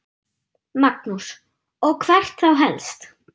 Magnús: Og hvert þá helst?